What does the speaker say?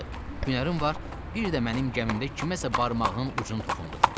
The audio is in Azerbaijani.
Hünərin var, bir də mənim gəmimdə kiməsə barmağının ucunu toxundur.